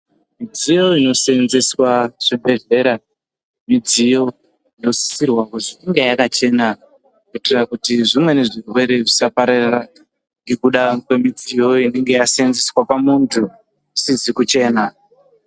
Midziyo inosevenzeswa muzvibhedhlera midziyo inosisirwa kuti inge yakachena kuitira kuti zvimweni zvirwere zvisaparara ngekuda kwemidziyo inenge yasevenzeswa pamuntu sizi kuchena.